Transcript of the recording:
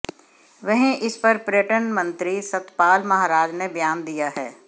वहीं इस पर पर्यटन मंत्री सतपाल महाराज ने बयान दिया है